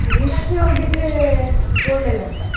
Train ಅಲ್ಲಿ ಹೋಗಿದ್ರೆ ಒಳ್ಳೇದಂತ.